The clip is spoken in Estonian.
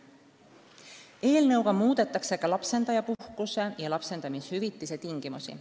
Eelnõu kohaselt muudetakse ka lapsendajapuhkuse ja lapsendaja vanemahüvitise tingimusi.